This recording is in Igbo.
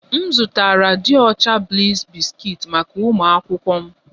M zụtara dị ọcha bliss biscuits maka ụmụ akwụkwọ m